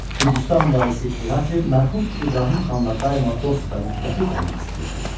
Gürcüstan varisi İrakli mərhum İbrahim xanla daima dost və müttəfiq olmaq istəyirdi.